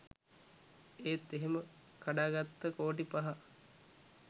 ඒත් එහෙම කඩාගත්ත කෝටි පහ